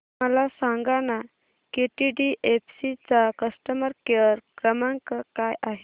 मला सांगाना केटीडीएफसी चा कस्टमर केअर क्रमांक काय आहे